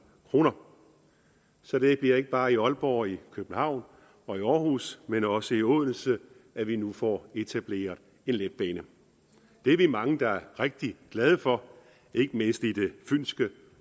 kroner så det bliver ikke bare i aalborg og i københavn og i aarhus men også i odense at vi nu får etableret en letbane det er vi mange der er rigtig glade for ikke mindst i det fynske